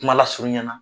Kuma lasurunya na